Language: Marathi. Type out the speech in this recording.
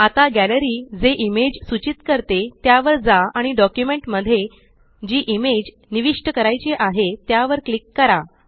आता गॅलरी जे इमेज सूचीत करते त्यावर जा आणि डॉक्युमेंट मध्ये जी इमेज निविष्ट करायची आहे त्यावर क्लिक करा